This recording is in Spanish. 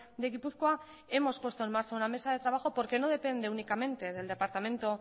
de gipuzkoa hemos puesto en marcha una mesa de trabajo porque no depende únicamente del departamento